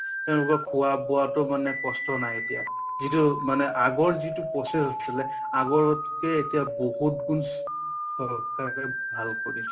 তেঁওলোকৰ খোৱা বোৱাটো মানে কষ্ট নাই এতিয়া । যিটো মানে আগৰ process আছিলে , আগতকে এতিয়া বহুত গুণ চৰকাৰে ভাল কৰিছে।